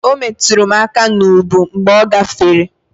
O metụrụ m aka n'ubu mgbe ọ gafere.